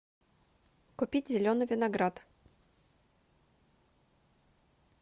купить зеленый виноград